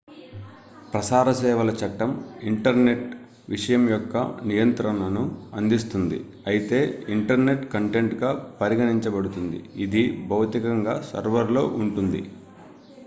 ప్రసార సేవల చట్టం ఇంటర్నెట్ విషయం యొక్క నియంత్రణను అందిస్తుంది అయితే ఇంటర్నెట్ కంటెంట్ గా పరిగణించబడుతుంది ఇది భౌతికంగా సర్వర్ లో ఉంటుంది